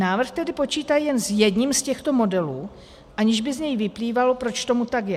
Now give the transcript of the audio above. Návrh tedy počítá jen s jedním z těchto modelů, aniž by z něj vyplývalo, proč tomu tak je.